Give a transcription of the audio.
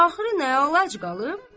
Axırı nə əlac qalıb?